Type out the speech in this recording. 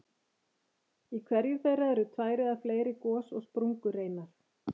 Í hverju þeirra eru tvær eða fleiri gos- og sprungureinar.